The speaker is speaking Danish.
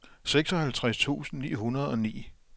seksoghalvtreds tusind ni hundrede og ni